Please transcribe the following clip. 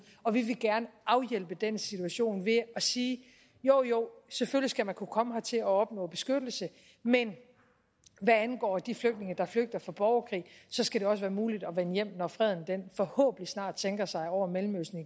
og vi vil gerne afhjælpe den situation ved at sige jo jo selvfølgelig skal man kunne komme hertil og opnå beskyttelse men hvad angår de flygtninge der flygter fra borgerkrig skal det også være muligt at vende hjem når freden forhåbentlig snart igen sænker sig over mellemøsten